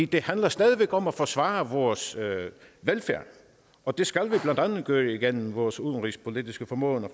det handler stadig væk om at forsvare vores velfærd og det skal vi blandt andet gøre gennem vores udenrigspolitiske formåen